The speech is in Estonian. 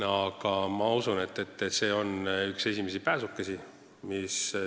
Aga ma usun, et see eelnõu on üks esimesi pääsukesi.